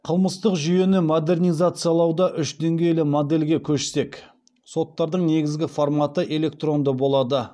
қылмыстық жүйені модернизациялауда үш деңгейлі модельге көшсек соттардың негізгі форматы электронды болады